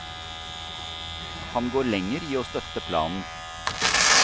Han går lenger i å støtte planen.